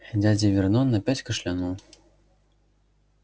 дядя вернон опять кашлянул